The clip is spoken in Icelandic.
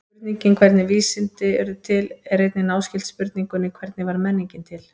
Spurningin hvernig urðu vísindi til er einnig náskyld spurningunni hvernig varð menningin til?